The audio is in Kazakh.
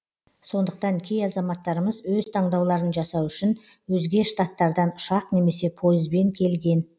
сондықтан кей азаматтарымыз өз таңдауларын жасау үшін өзге штататтардан ұшақ немесе пойызбен келген